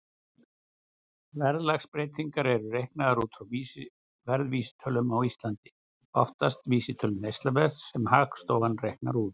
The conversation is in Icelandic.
Verðlagsbreytingar eru reiknaðar út frá verðvísitölum, á Íslandi oftast vísitölu neysluverðs sem Hagstofan reiknar út.